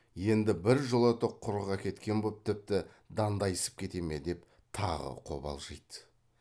енді біржолата құрық әкеткен боп тіпті дандайсып кете ме деп тағы қобалжиды